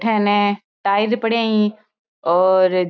अठे हे ने टाइल पड़या है और --